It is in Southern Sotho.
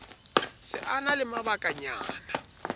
se a na le mabakanyana